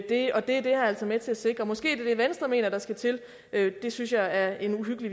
det er det her altså med til at sikre måske er det det venstre mener der skal til det synes jeg er en uhyggelig